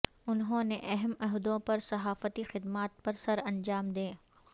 انہوں نے اہم عہدوں پر صحافتی خدمات سر انجام دیں